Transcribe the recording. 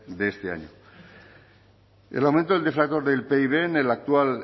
de este año el aumento del deflactor del pib en el actual